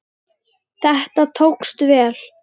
Þetta tókst vel.